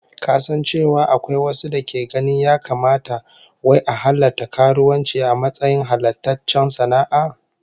Ka san cewa akwai wasu dake ganin ya kamata wai a halatta karuwanci a matsayin halattaccen sana'a?